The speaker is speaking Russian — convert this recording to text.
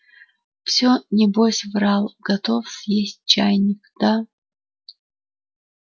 все небось врал готов съесть чайник да